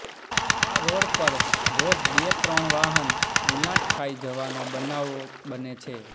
આ રોડ પર રોજ બે ત્રણ વાહન ગુલાંટ ખાઇ જવાના બનાવો બને છે